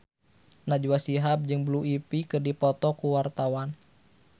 Najwa Shihab jeung Blue Ivy keur dipoto ku wartawan